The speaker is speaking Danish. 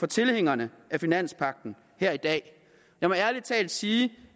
tilhængere af finanspagten her i dag jeg må ærlig talt sige